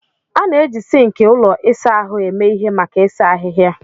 A na-eji sink ụlọ ịsa ahụ eme ihe maka ịsa ahịhịa.